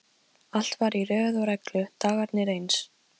Allt var í röð og reglu, dagarnir eins.